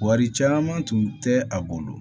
Wari caman tun tɛ a bolo